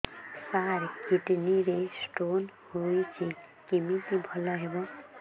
ସାର kidney ରେ stone ହେଇଛି କମିତି ଭଲ ହେବ